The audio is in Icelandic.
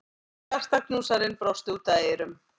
Hjartaknúsarinn brosti út að eyrum.